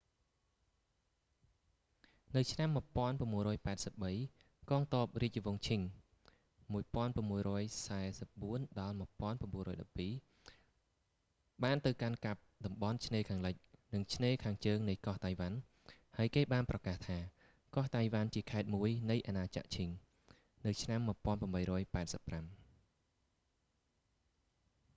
នៅឆ្នាំ 1683 កងទ័ពរាជវង្សឈិង qing 1644-1912 បានទៅកាន់កាប់តំបន់ឆ្នេរខាងលិច និងឆ្នេរខាងជើងនៃកោះតៃវ៉ាន់ ហើយគេបានប្រកាសថា កោះតៃវ៉ាន់ជាខេត្តមួយនៃអាណាចក្រឈិង qing empire នៅឆ្នាំ 1885